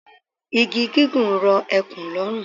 Igi gígùn rọ ekùn lọ́rùn.